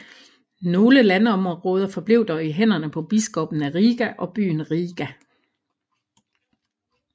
Nogle landområder forblev dog i hænderne på biskoppen af Riga og byen Riga